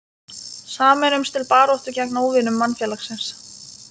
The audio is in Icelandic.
Sameinumst til baráttu gegn óvinum mannfélagsins.